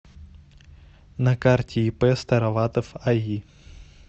на карте ип староватов аи